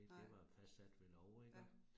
Nej. Ja